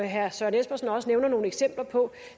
herre søren espersen også nævner nogle eksempler på